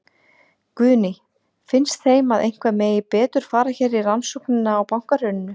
Guðný: Finnst þeim að eitthvað megi betur fara hér í rannsóknina á bankahruninu?